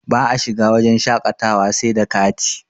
ba a shiga wajen shaƙatawa sai da kati